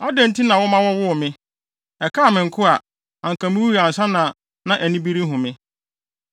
“Adɛn nti na woma wɔwoo me? Ɛkaa me nko a anka miwui ansa na ani bi rehu me.